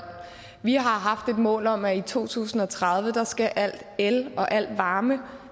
vi har haft et mål om at i to tusind og tredive skal al el og al varme